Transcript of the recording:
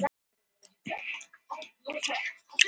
Fullt hús refsistiga þar á bæ.